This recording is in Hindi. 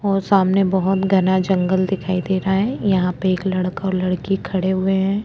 और सामने बहोत घना जंगल दिखाई दे रहा है यहाँ पे एक लड़का और लड़की खड़े हुए है।